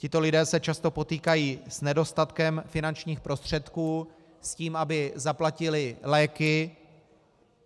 Tito lidé se často potýkají s nedostatkem finančních prostředků, s tím, aby zaplatili léky.